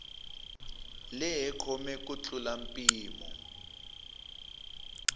lehe kome ku tlula mpimo